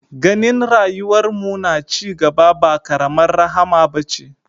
Ganin rayuwar mu na cigaba ba karamar rahama bace